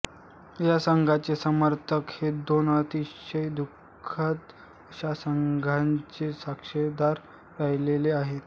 या संघाचे समर्थक हे दोन अतिशय दुःखद अशा घटनांचे साक्षीदार राहिलेले आहेत